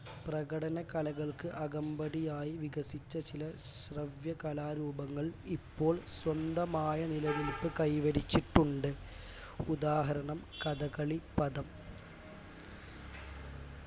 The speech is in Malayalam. പ്രകടന കലകൾക്ക് അകമ്പടിയായി വികസിച്ച ചില ശ്രവ്യകലാരൂപങ്ങൾ ഇപ്പോൾ സ്വന്തമായ നിലനിൽപ് കൈ വരിച്ചിട്ടുണ്ട് ഉദാഹരണം കഥകളിപദം